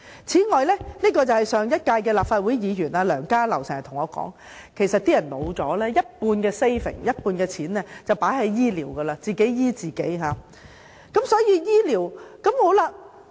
此外，上屆立法會議員梁家騮經常對我說，當市民老了，便會把一半的儲蓄用在醫療上，自費接受醫療服務。